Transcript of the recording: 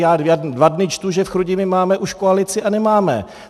Já dva dny čtu, že v Chrudimi máme už koalici, a nemáme.